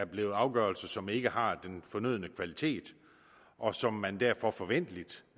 blevet afgørelser som ikke har den fornødne kvalitet og som man derfor forventeligt